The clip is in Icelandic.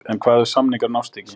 En hvað ef samningar nást ekki?